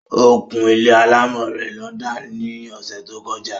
Ó kún ilé alámọ̀ rẹ̀ lọ́dà ní ọsẹ̀ tó kọjá